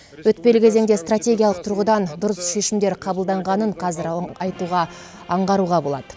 өтпелі кезеңде стратегиялық тұрғыдан дұрыс шешімдер қабылданғанын қазір айтуға аңғаруға болады